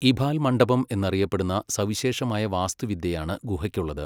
ഇഭാൽ മണ്ഡപം എന്നറിയപ്പെടുന്ന സവിശേഷമായ വാസ്തുവിദ്യയാണ് ഗുഹയ്ക്കുള്ളത്.